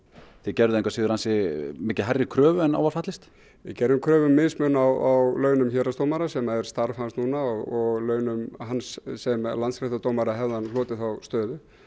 þið gerðuð ansi mikið hærri kröfu en á var fallist við gerðum kröfu um mismun á launum héraðsdómara sem er starf hans núna og launum hans sem landsréttardómara hefði hann hlotið þá stöðu